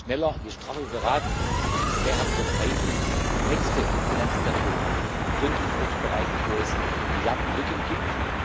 Je schneller, je straffer wir beraten, desto mehr haben wir Zeit, um die nächste Finanzperiode gründlich vorzubereiten, wo es Milliardenlücken gibt.